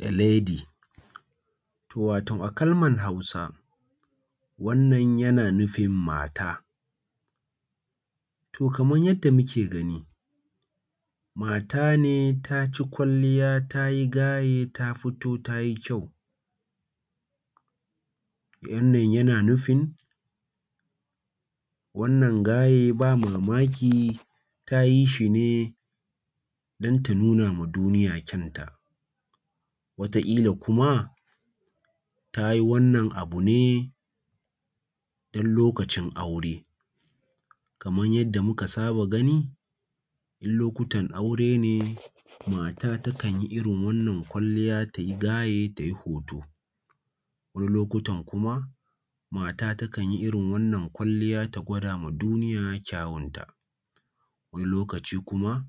A lady, to wato a kalmar Hausa wannan yana nufin mata. To kamar yanda muke gani, mata ne ta ci kwalliya ta yi gaye ta fito ta yi kyau, wannna yana nufin wannan gaye ba mamaki ta yi shi ne don ta nuna ma duniya kyanta. Wataƙila kuma ta yi wannan abu ne don lokacin aure, kamar yanda muka saba gani in lokutan aure ne mata takan yi irin wannan kwalliya ta yi gaye ta yi hoto. Wani lokutan kuma, mata takan yi irin wannan kwalliya ta gwada ma duniya kyawunta. Wani lokaci kuma,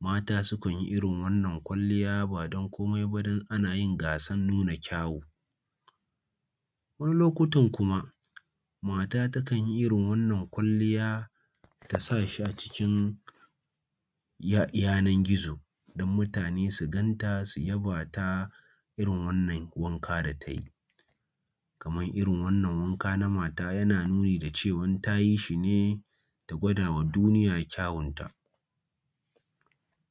mata su kan yi irin wannan kwalliya ba don komai ba don ana yin gasan nuna kyawu. Wani lokutan kuma, mata takan yi irin wannan kwalliya ta sa shi acikin yanan-gizo, don mutane su ganta su yaba ta irin wannan wanka da ta yi. Kamar irin wannan wanka na mata yana nuni da cewa ta yi shi ne ta gwadawa duniya kyawunta.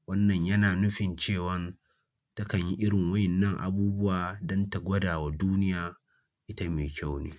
Wannan yana nufin cewan takan yi irin waɗannan abubuwa don ta gwadawa duniya ita mai kyau ne.